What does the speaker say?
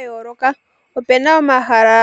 Ga yooloka opena omahala